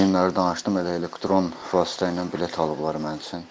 Bugünləri danışdım, elə elektron vasitə ilə bilet alıblar mənim üçün.